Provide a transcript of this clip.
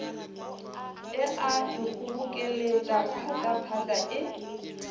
e a ikgobokeletša phatlaphatla e